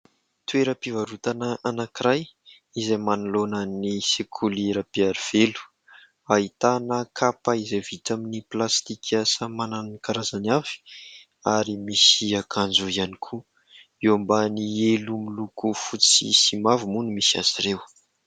Toeram-pivarotana anankiray izay manoloana ny sekoly Rabearivelo, ahitana kapa izay vita amin'ny plastika samy manana ny karazany avy ary misy akanjo ihany koa. Eo ambany elo miloko fotsy sy mavo moa no misy azy ireo.